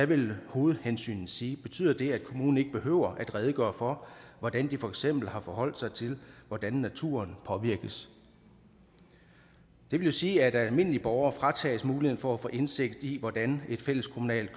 vil hovedhensynet sige betyder det at kommunen ikke behøver at redegøre for hvordan de for eksempel har forholdt sig til hvordan naturen påvirkes det vil jo sige at almindelige borgere fratages muligheden for at få indsigt i hvordan et fælleskommunalt